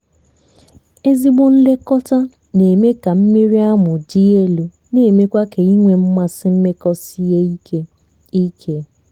ezigbo nlekọta na-eme ka mmiri amụ dị elu na emekwa ka ịnwe mmasị mmekọ sie ike. ike.